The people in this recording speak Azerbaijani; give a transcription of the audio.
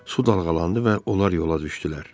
Su dalğalandı və onlar yola düşdülər.